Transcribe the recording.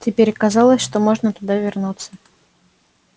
теперь казалось что можно туда вернуться